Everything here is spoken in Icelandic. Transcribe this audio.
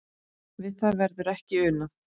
Við það verður ekki unað.